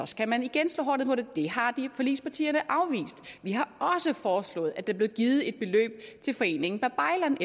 skal man igen slå hårdt ned på det det har forligspartierne afvist vi har også foreslået at der blev givet et beløb til foreningen babaylan